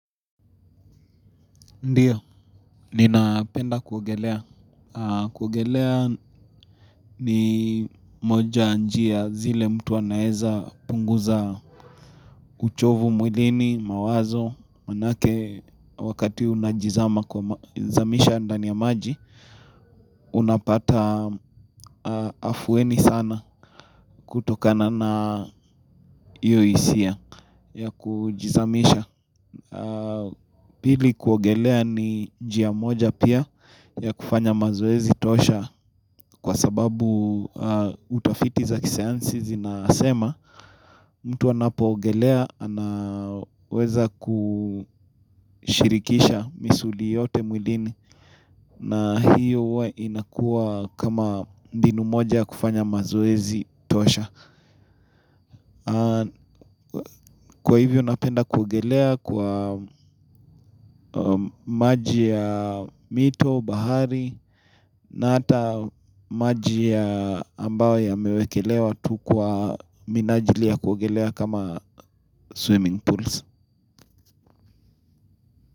Ndiyo, ninapenda kuogelea. Kuogelea ni moja ya njia zile mtu anaeza punguza uchovu mwilini, mawazo, manake wakati unajizama kwa zamisha ndani ya maji, unapata afueni sana kutokana na hiyo hisia ya kujizamisha. Pili kuogelea ni njia moja pia ya kufanya mazoezi tosha. Kwa sababu utafiti za kisayansi zinasema mtu anapoogelea anaweza kushirikisha misuli yote mwilini. Na hiyo huwa inakua kama mbinu moja ya kufanya mazoezi tosha. Kwa hivyo napenda kuogelea kwa maji ya mito, bahari na hata maji ya ambayo yamewekelewa tu kwa minajili ya kuogelea kama swimming pools.